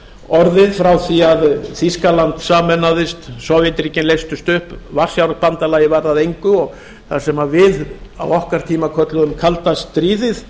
orðið frá því að þýskaland sameinaðist sovétríkin leystust upp varsjárbandalagið varð að engu og það sem við á okkar tíma kölluðum kalda stríðið